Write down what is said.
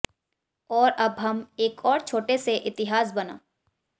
और अब हम एक और छोटे से इतिहास बना